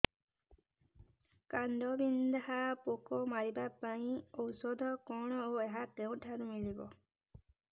କାଣ୍ଡବିନ୍ଧା ପୋକ ମାରିବା ପାଇଁ ଔଷଧ କଣ ଓ ଏହା କେଉଁଠାରୁ ମିଳିବ